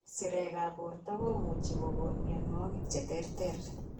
Sirekab borto komuchi kokon mionwogik cheterter